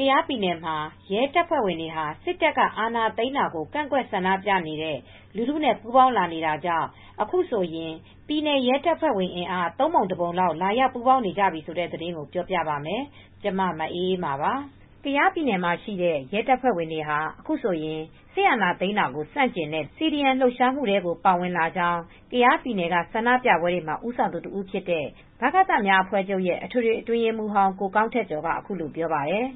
ကယားပြည်နယ်မှာ ရဲတပ်ဖွဲ့ဝင်တွေဟာ စစ်တပ်က အာဏာသိမ်းတာကို ကန့်ကွက်ဆန္ဒပြနေတဲ့ လူထုနဲ့ ပူးပေါင်းလာနေတာကြောင့် အခုဆိုရင် ပြည်နယ် ရဲတပ်ဖွဲ့ဝင်အင်အား ၃ ပုံ ၁ ပုံလောက် လာရောက်ပူးပေါင်းနေကြပါပြီ။ အပြည့်အစုံကို ထိုင်းအခြေစိုက် ဗွီအိုအေမြန်မာပိုင်း သတင်းထောက် မအေးအေးမာ တင်ပြထားပါတယ်။ ကယားပြည်နယ်မှာရှိတဲ့ ရဲတပ်ဖွဲ့ဝင်တွေဟာ အခုဆိုရင် စစ်အာဏာသိမ်းတာကို ဆန့်ကျင်တဲ့ လူထု CDM Civil Disobedience Movement လှုပ်ရှားမှုတွေထဲကို ပါဝင်လာကြောင်း ကယားပြည်နယ်က ဆန္ဒပြပွဲတွေမှာ ဦးဆောင်သူတဦးဖြစ်တဲ့ ဗကသများအဖွဲ့ချုပ်ရဲ့ အထွေထွေအတွင်းရေးမှူးဟောင်း ကိုကောင်းထက်ကျော်က အခုလိုပြောပါတယ်။